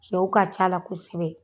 Cɛw ka ca la kosɛbɛ.